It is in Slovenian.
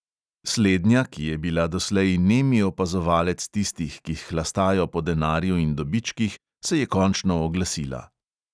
Slednja, ki je bila doslej nemi opazovalec tistih, ki hlastajo po denarju in dobičkih, se je končno oglasila!